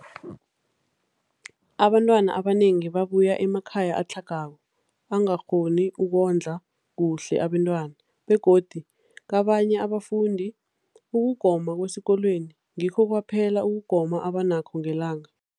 Abantwana abanengi babuya emakhaya atlhagako angakghoni ukondla kuhle abentwana, begodu kabanye abafundi, ukugoma kwesikolweni ngikho kwaphela ukugoma abanakho ngelanga.